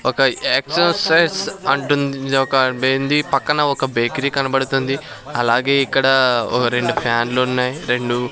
ఒక ఎక్సూసెస్ అంటుంది ఇది ఒక బెంది పక్కన ఒక బేకరీ కనపడుతుంది అలాగే ఇక్కడ ఒక రెండు ఫ్యాన్ లు ఉన్నాయి. రెండు --